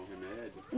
remédios?